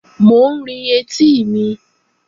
Mò ń rin etí mi